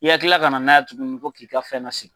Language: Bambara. I ka kila ka na n'a ye tuguni ko k'i ka fɛn nasegin.